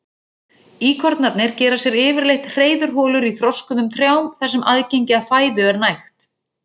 Íkornarnir gera sér yfirleitt hreiðurholur í þroskuðum trjám þar sem aðgengi að fæðu er nægt.